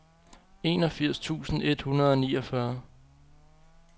enogfirs tusind et hundrede og niogfyrre